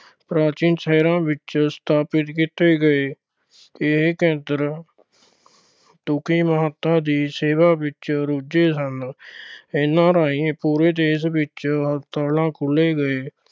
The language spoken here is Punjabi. ਪ੍ਰਾਚੀਨ ਸ਼ਹਿਰਾਂ ਵਿੱਚ ਸਥਾਪਿਤ ਕੀਤੇ ਗਏ। ਇਹ ਮਹਾਤਮਾ ਦੀ ਸੇਵਾ ਵਿੱਚ ਰੁੱਝੇ ਸਨ। ਇਨ੍ਹਾਂ ਰਾਹੀਂ ਪੂਰੇ ਦੇਸ਼ ਵਿੱਚ ਹਸਪਤਾਲ ਖੋਲ੍ਹੇ ਗਏ।